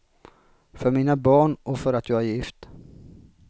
För mina barn och för att jag är gift.